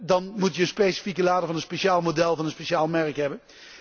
Dan moet je een specifieke lader van een speciaal model en van een speciaal merk hebben.